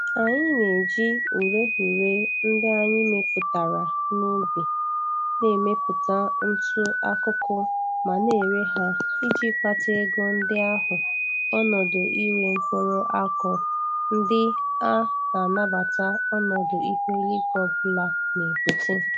Anyi na-eji ureghure ndị anyị mepụtara n'ubi na-emepụta ntụ akụkụ ma na-ere ha iji kpata ego ndị ahụ onọdụ ire mkpụrụ akụụ ndị a na-anabata ọnọdụ ihu eluigwe ọbụla na-ebute.